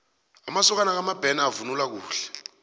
amasokana kamabena bavunula kuhle